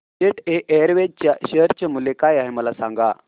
jet Airways च्या share चे मूल्य काय आहे मला सांगा